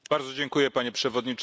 Panie Przewodniczący!